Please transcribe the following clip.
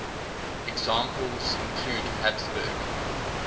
examples include habsburg